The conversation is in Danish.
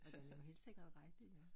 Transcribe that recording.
Og det jo helt sikkert rigtigt